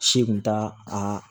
Si kun t'a a